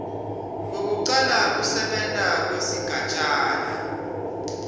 lwekucala kusebenta kwesigatjana